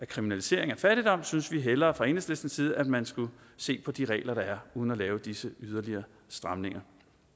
kriminalisering af fattigdom synes vi hellere fra enhedslistens side at man skulle se på de regler der er uden at lave disse yderligere stramninger